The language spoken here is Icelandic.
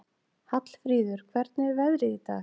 Hallfríður, hvernig er veðrið í dag?